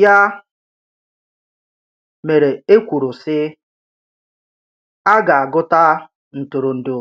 Yà mere e kwùrù sị̀: “À gà-agụ̀tà ǹtụ̀rụ̀ndụ̀